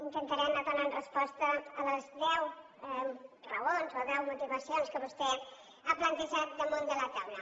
intentaré anar donant resposta a les deu raons o deu motivacions que vostè ha plantejat damunt de la taula